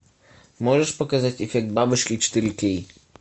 можешь показать эффект бабочки четыре кей